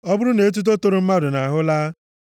“Ọ bụrụ na etuto toro mmadụ nʼahụ alaa,